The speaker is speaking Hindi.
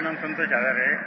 मेरा नाम संतोष जाधव है